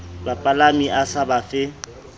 bapalami a sa ba fe